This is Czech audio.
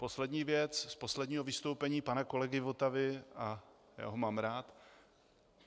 Poslední věc z posledního vystoupení pana kolegy Votavy - a já ho mám rád.